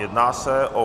Jedná se o